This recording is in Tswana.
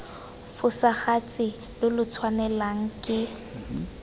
fosagatse lo lo tshwanelwang ke